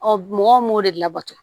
Ɔ mɔgɔw m'o de labato